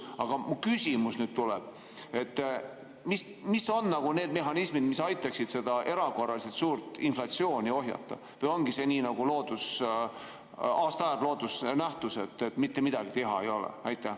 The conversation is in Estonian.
Aga mu küsimus tuleb nüüd: mis on need mehhanismid, mis aitaksid seda erakorraliselt suurt inflatsiooni ohjata, või ongi sellega nagu aastaaegade ja loodusnähtustega, et mitte midagi teha ei ole?